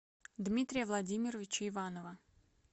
дмитрия владимировича иванова